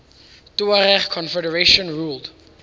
tuareg confederations ruled